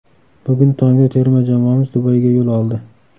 Bugun tongda terma jamoamiz Dubayga yo‘l oldi.